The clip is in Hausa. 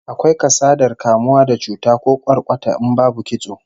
Akwai kasadar kamuwa da cuta ko kwarkwata in babu kitso